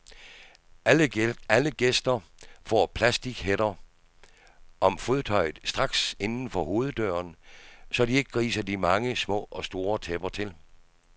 Alle gæster får plastichætter om fodtøjet straks inden for hoveddøren, så de ikke griser de mange små og store tæpper til.